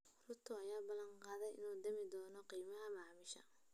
Ruto ayaa balan qaaday inuu dhimi doono qiimaha maciishada.